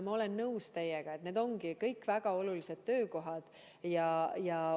Ma olen teiega nõus, et need ongi kõik väga olulised töökohad.